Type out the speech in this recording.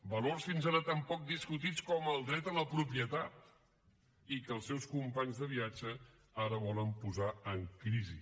valors fins ara tan poc discutits com el dret a la propietat i que els seus companys de viatge ara volen posar en crisi